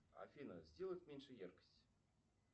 афина сделать меньше яркость